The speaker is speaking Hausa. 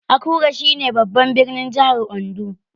Akure shi ne babban birnin jahar Ondo